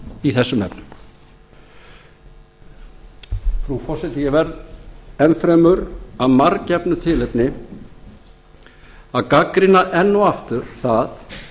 í þessum efnum frú forseti ég verð enn fremur að marggefnu tilefni að gagnrýna enn og aftur það